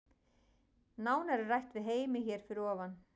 Nánar er rætt við Heimi hér fyrir ofan.